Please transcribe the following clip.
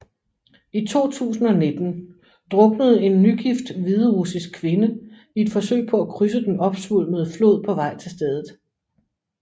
I 2019 druknede en nygift hviderussisk kvinde i et forsøg på at krydse den opsvulmede flod på vej til stedet